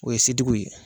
O ye setigiw ye